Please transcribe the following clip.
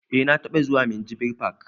Eh na taɓa zuwa minjibir fak